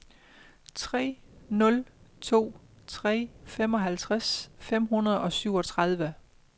tre nul to tre femoghalvtreds fem hundrede og syvogtredive